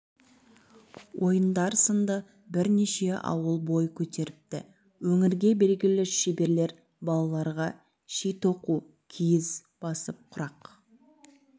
ойындар сынды бірнеше ауыл бой көтеріпті өңірге белгілі шеберлер балаларға ши тоқу киіз басып құрақ